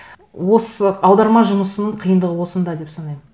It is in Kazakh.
осы аударма жұмысының қиындығы осында деп санаймын